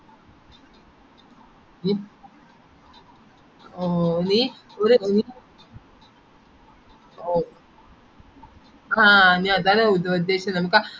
ഓ നീ ഒരു ഓ ആഹ് ഞാൻ അതാണേ ഉപ ഉദ്ദേശിച്ചത് നമക് ആ